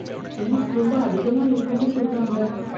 Fees ரொம்ப அதிகமா இருக்கும்னு சொல்றாங்க.